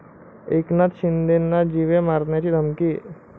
एकनाथ शिंदेंना जीवे मारण्याची धमकी